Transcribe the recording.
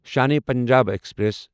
Shan-e Punjab express